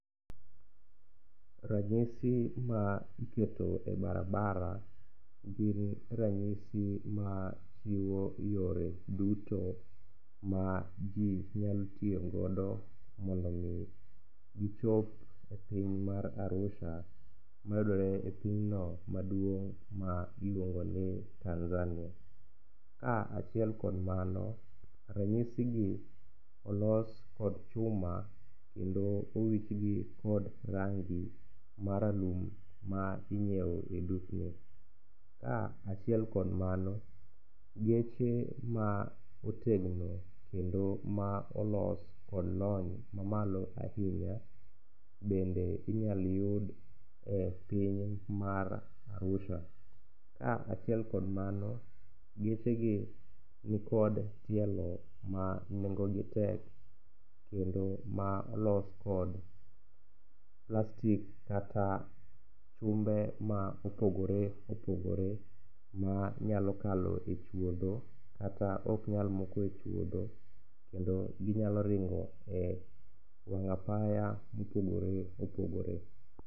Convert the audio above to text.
Ranyisi ma iketo e barabara gin ranyisi machiwo yore duto ma ji nyal tiyogodo mondo omi gichop e piny mar Arusha mayudore e pinyno maduong' miluongo ni Tanzania. Kaachiel kod mano, ranyisigi olos kod chuma kendo owichgi kod rangi maralum ma inyieo e dukni. Kaachiel kod mano, geche ma otegno kendo ma olos kod lony mamalo ahinya bende inyal yud e piny mar Arusha. Kaachiel kod mano, gechegi nikod tielo ma nengogi tek kendo ma olos kod plastik kata chumbe ma opogore opogore manyalo kalo e chuodho kata oknyal moko e chuodho kendo ginyalo ringo e wang' apaya mopogore opogore.